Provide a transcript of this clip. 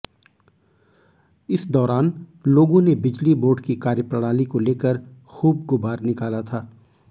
इस दौरान लोगों ने बिजली बोर्ड की कार्यप्रणाली को लेकर खूब गुब्बार निकाला था